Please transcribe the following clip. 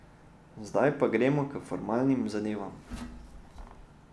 Zdaj pa gremo k formalnim zadevam.